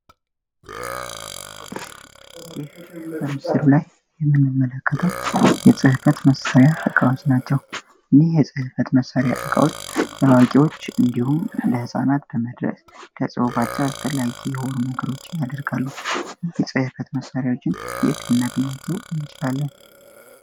ይህ በምስሉ ላይ የምንመለከተው የጽሕበት መሳሪያ እቃወዝ ናቸው ሚህ የጸሕፈት መሳሪያ ዕቃዎች ለዋቂዎች እንዲሁን ለሕፃናት በመድረ ከጽቡባቸው አስበላጊ የወር መግሮችን ያደርጋሉ። የጽሕፈት መሳሪያዎችን የትናቢናቸው እንችላለን?